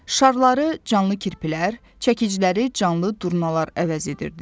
Şarları canlı kirpilər, çəkiciləri canlı durnalar əvəz edirdi.